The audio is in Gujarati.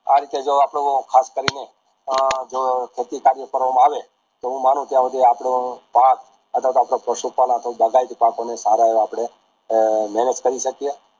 આ રીતે જો આપણું ખાસ કરીને એ જો ખેતી ફેરવા માં આવે તો હું માનું ત્યાં હુધી આપડુ પાક અથવા તો આપડા પશુ પાલ બાગાયતી પાકોને સારા આપડે મેહનત કરી શકીયે